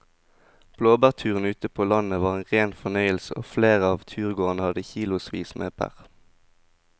Blåbærturen ute på landet var en rein fornøyelse og flere av turgåerene hadde kilosvis med bær.